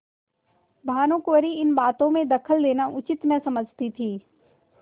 भानुकुँवरि इन बातों में दखल देना उचित न समझती थी